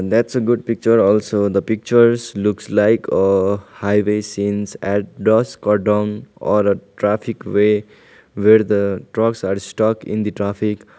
that's a good picture also the pictures looks like a highway scenes at dosk or dong or a traffic way where the trucks are stuck in the traffic.